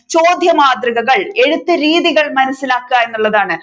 ചോദ്യമാതൃകകൾ എഴുത്തു രീതികൾ മനസിലാക്കുക എന്നുള്ളതാണ്